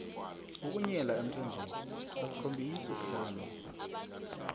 ukunyela emthonjeni akukhombisi ukuhlakanipha